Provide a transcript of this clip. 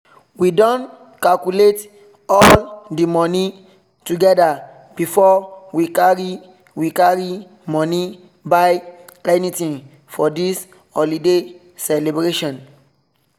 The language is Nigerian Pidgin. we don calculate all the money together before we carry we carry money buy anything for this holiday celebration